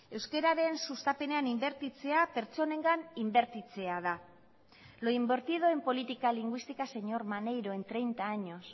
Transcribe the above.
euskararen sustapenean inbertitzea pertsonengan inbertitzea da lo invertido en política lingüística señor maneiro en treinta años